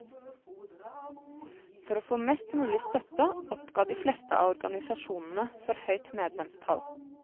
For å få mest mulig støtte oppgav de fleste av organisasjonene for høyt medlemstall.